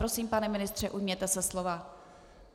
Prosím, pane ministře, ujměte se slova.